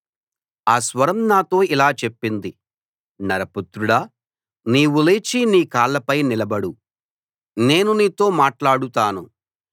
ఆ స్వరం నాతో ఇలా చెప్పింది నరపుత్రుడా నీవు లేచి నీ కాళ్ళపై నిలబడు నేను నీతో మాట్లాడుతాను